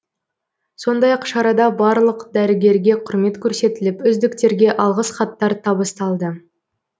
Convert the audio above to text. сондай ақ шарада барлық дәрігерге құрмет көрсетіліп үздіктерге алғыс хаттар табысталды